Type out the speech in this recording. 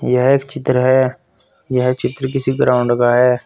यह एक चित्र है यह चित्र किसी ग्राउंड का है।